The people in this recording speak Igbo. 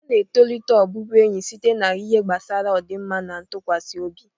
A na-etolite ọbụbụenyi site n'ihe gbasara ọdịmma na ntụkwasị obi.